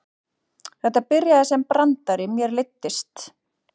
Þetta byrjaði sem brandari, mér leiddist.